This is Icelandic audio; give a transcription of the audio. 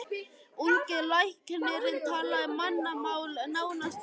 Ungi læknirinn talaði mannamál, nánast götumál.